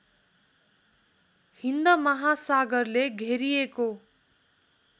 हिन्द महासागरले घेरिएको